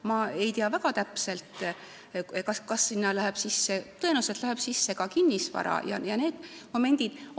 Ma ei tea väga täpselt, kas sinna arvestusse läheb sisse – tõenäoliselt läheb – ka kinnisvara ja muud sellised momendid.